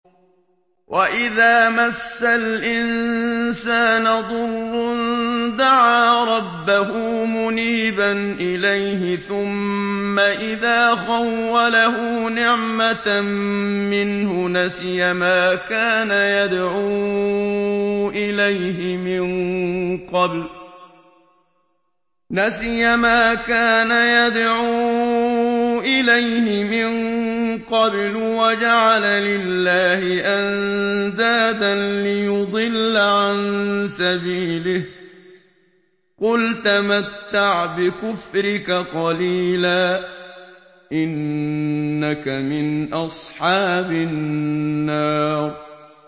۞ وَإِذَا مَسَّ الْإِنسَانَ ضُرٌّ دَعَا رَبَّهُ مُنِيبًا إِلَيْهِ ثُمَّ إِذَا خَوَّلَهُ نِعْمَةً مِّنْهُ نَسِيَ مَا كَانَ يَدْعُو إِلَيْهِ مِن قَبْلُ وَجَعَلَ لِلَّهِ أَندَادًا لِّيُضِلَّ عَن سَبِيلِهِ ۚ قُلْ تَمَتَّعْ بِكُفْرِكَ قَلِيلًا ۖ إِنَّكَ مِنْ أَصْحَابِ النَّارِ